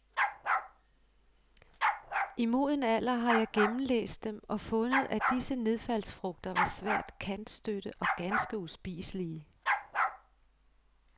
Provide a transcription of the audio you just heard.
I moden alder har jeg gennemlæst dem og fundet, at disse nedfaldsfrugter var svært kantstødte og ganske uspiselige.